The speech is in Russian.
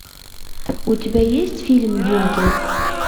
у тебя есть фильм дюнкерк